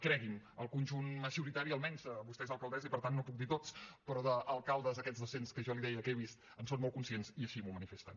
cregui’m el conjunt majoritari almenys vostè és alcaldessa i per tant no puc dir tots però d’alcaldes aquests doscents que jo li deia que he vist en són molt conscients i així m’ho manifesten